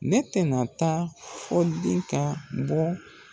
Ne tɛ na taa fo di ka bɔ